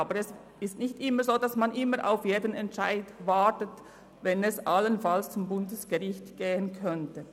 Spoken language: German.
Aber es ist nicht immer so, dass man jeden Entscheid abwartet, nur weil er allenfalls ans Bundesgericht gehen könnte.